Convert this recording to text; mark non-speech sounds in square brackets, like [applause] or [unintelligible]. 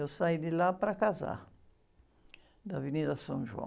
Eu saí de lá para casar, da. [unintelligible]